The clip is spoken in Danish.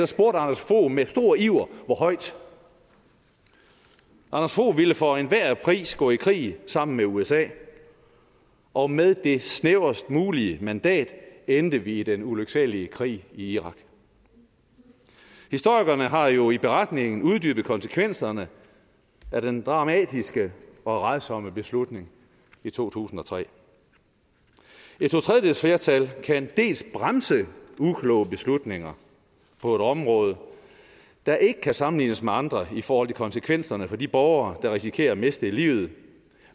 spurgte anders fogh med stor iver hvor højt anders fogh ville for enhver pris gå i krig sammen med usa og med det snævrest mulige mandat endte vi i den ulyksalige krig i irak historikerne har jo i beretningen uddybet konsekvenserne af den dramatiske og rædsomme beslutning i to tusind og tre et totredjedelsflertal kan dels bremse ukloge beslutninger på et område der ikke kan sammenlignes med andre i forhold til konsekvenserne for de borgere der risikerer at miste livet